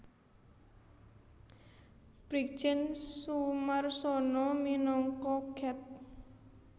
Brigjen Soemarsono minangka Ket